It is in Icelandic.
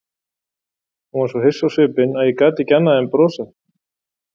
Hún var svo hissa á svipinn að ég gat ekki annað en brosað.